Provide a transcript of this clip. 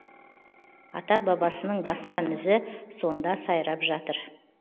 ата бабасының басқан ізі сонда сайрап жатыр